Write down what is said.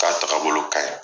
K'a takabolo ka ɲi.